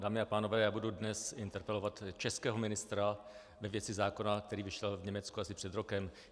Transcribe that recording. Dámy a pánové, já budu dnes interpelovat českého ministra ve věci zákona, který vyšel v Německu asi před rokem.